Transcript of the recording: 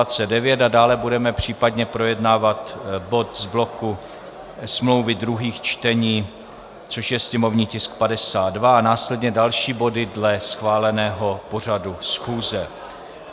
A dále budeme případně projednávat bod z bloku smlouvy druhých čtení, což je sněmovní tisk 52, a následně další body dle schváleného pořadu schůze.